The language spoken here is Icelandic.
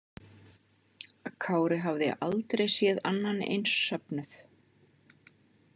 Kári hafði aldrei séð annan eins söfnuð.